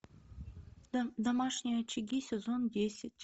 домашние очаги сезон десять